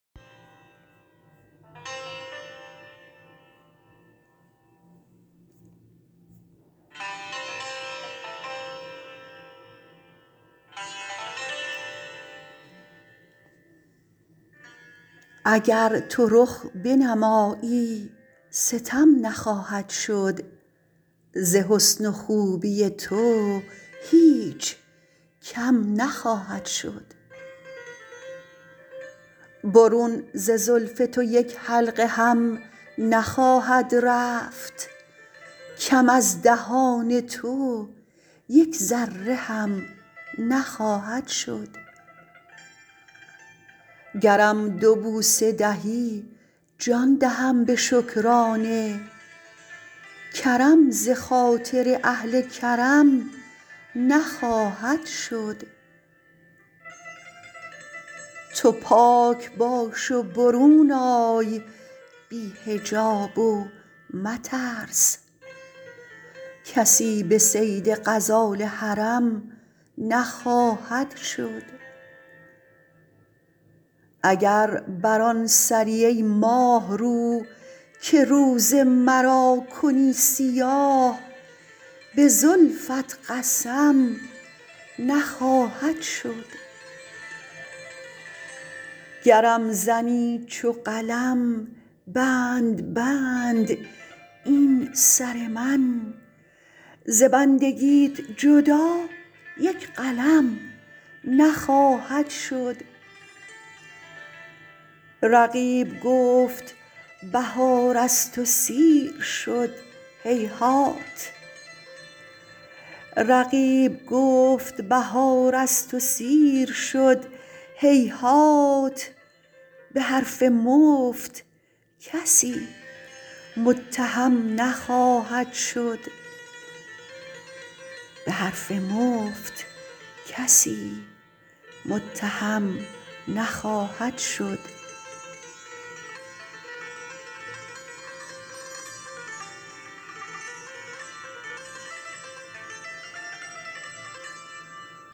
اگر تو رخ بنمایی ستم نخواهد شد ز حسن و خوبی تو هیچ کم نخواهد شد برون ز زلف تو یک حلقه هم نخواهد رفت کم از دهان تو یک ذره هم نخواهد شد گرم دو بوسه دهی جان دهم به شکرانه کرم ز خاطر اهل کرم نخواهد شد تو پاک باش و برون آی بی حجاب و مترس کسی به صید غزال حرم نخواهد شد اگر بر آن سری ای ماهرو که روز مرا کنی سیاه به زلفت قسم نخواهد شد گرم زنی چو قلم بند بند این سر من ز بندگیت جدا یک قلم نخواهد شد رقیب گفت بهار از تو سیر شد هیهات به حرف مفت کسی متهم نخواهد شد